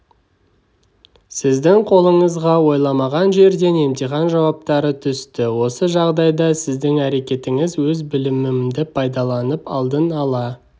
сіздің қолыңызға ойламаған жерден емтихан жауаптары түсті осы жағдайда сіздің әрекетіңіз өз білімімді пайдаланып алдын ала